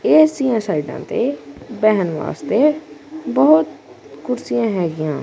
ਇਸ ਦੀਆਂ ਸਾਈਡਾਂ ਤੇ ਬਹਿਣ ਵਾਸਤੇ ਬਹੁਤ ਕੁਰਸੀਆਂ ਹੈਗੀਆਂ।